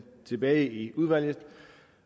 tilbage i udvalget